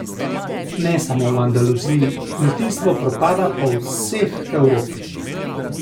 Ne samo v Andaluziji, kmetijstvo propada po vseh Evropi.